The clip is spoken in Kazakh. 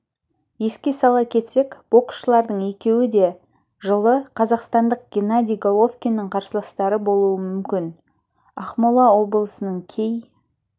еске сала кетсек боксшылардың екеуі де жылы қазақстандық геннадий головкиннің қарсыластары болуы мүмкін ақмола облысының кей